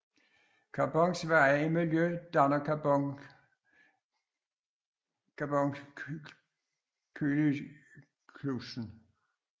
Carbons veje i miljøet danner carboncyklussen